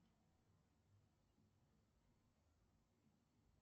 салют какие кате ты знаешь